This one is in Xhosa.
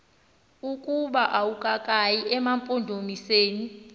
ukuba akukayi emampondomiseni